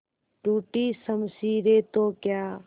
टूटी शमशीरें तो क्या